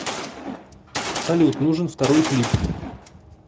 салют нужен второй клип